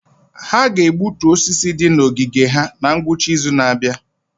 Ha ga-egbutu osisi ndị dị na ogige ha na ngwụcha izu na-abịa.